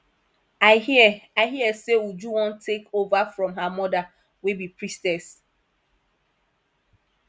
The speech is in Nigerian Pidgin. i hear i hear say uju wan take over from her mother wey be priestess